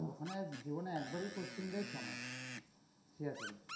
ওখানে জীবনে একবারই posting দেয়, ছ'মাস Siachen এ.